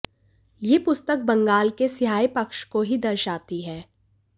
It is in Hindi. यह पुस्तक बंगाल के स्याह पक्ष को ही दर्शाती है